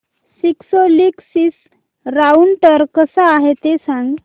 Cisco Linksys router कसा आहे ते सांग